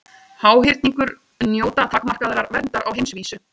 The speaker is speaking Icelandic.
Háhyrningur njóta takmarkaðrar verndar á heimsvísu.